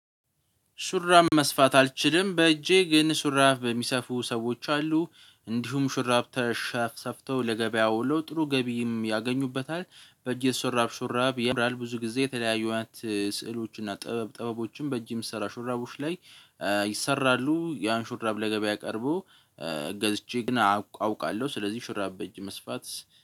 ሹራብ መስፋት አልችልም በእጄ ግን ሹራብ የሚሰፉ ሰዎች አሉ እንዲሁም ሹራብ ተሰፍተው ለገበያው ወሎ ጥሩ ገቢም ያገኙበታል። በእጅ የተሰራ ሹራብ ሹራብ ያምራል ብዙ ጊዜ የተለያዩ አይነት ስዕሎች እና ጥበብ ጥበቦችን በእጅ የሚሰራ ሹራቡሽ ላይ ይሰራሉ። ያን ሹራብ ለገበያ ቀርቦ ገዝቼ ግን አውቃለሁ ስለዚህ ሹራብ በእጅ መስፋት